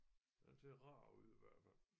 Den ser rar ud i hvert fald